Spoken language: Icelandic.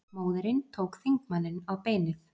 Móðirin tók þingmanninn á beinið